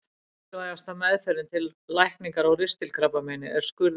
Mikilvægasta meðferðin til lækningar á ristilkrabbameini er skurðaðgerð.